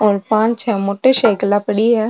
और पांच छै मोटर साइकल खड़ी है।